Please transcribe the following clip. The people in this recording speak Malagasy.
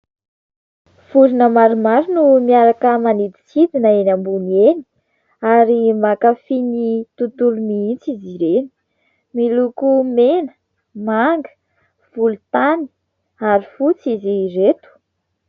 Vorona maromaro no miaraka maniditsidina eny ambony eny ary mankafy ny tontolo mihitsy izy ireny. Miloko mena, manga, volotany ary fotsy izy ireto.